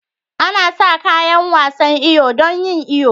Ana sa kayan wasan iyo don yin iyo.